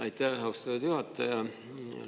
Aitäh, austatud juhataja!